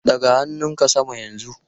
Ɗaga hannunka sama yanzu!